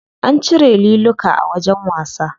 An cire liluka a wajen wasa.